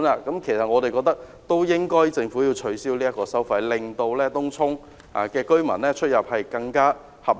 所以，我們覺得政府應要取消這項收費，令東涌居民出入成本更合理。